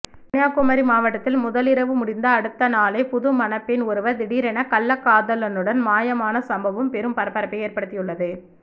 கன்னியாகுமரி மாவட்டத்தில் முதலிரவு முடிந்த அடுத்த நாளே புதுமணப்பெண் ஒருவ திடீரென கள்ளக்காதலுடன் மாயமான சம்பவம் பெரும் பரபரப்பை ஏற்படுத்தியுள்ளது